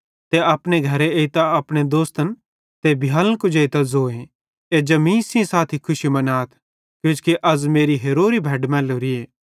ते अपने घरे एइतां अपने दोस्तन ते भियालन कुजेइतां ज़ोए कि अज़ मीं सेइं साथी खुशी मनाथ किजोकि अज़ मेरी हेरोरी भैड मैलोरीए